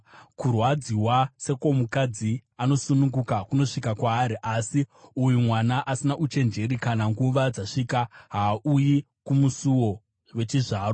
Kurwadziwa sekwomukadzi anosununguka kunosvika kwaari, asi uyu mwana asina uchenjeri; kana nguva dzasvika, haauyi kumusuo wechizvaro.